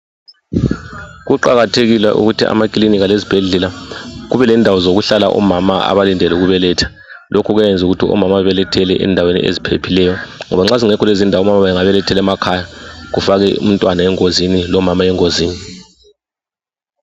Kuqakathekile ukuthi amakilinika lezibhedlela kube Lendawo zokuhlala omama abalindele ukubeletha .Lokhu kuyayenza ukuthi omama babelethele endaweni eziphephileyo , ngoba nxa zingekho Lezindawo omama bengabelethela emakhaya .Kufake umntwana engozini ,lomama engozini.